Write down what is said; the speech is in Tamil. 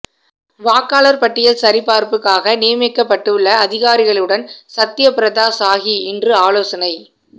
வாக்காளர் பட்டியல் சரிபார்ப்புக்காக நியமிக்கப்பட்டுள்ள அதிகாரிகளுடன் சத்யபிரதா சாஹு இன்று ஆலோசனை